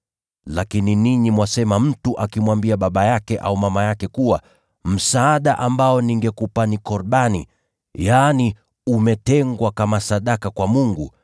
Lakini ninyi mwafundisha kwamba mtu akimwambia baba yake au mama yake, ‘Kile ambacho ningeweza kukusaidia ni Korbani’ (yaani kimewekwa wakfu kwa Mungu),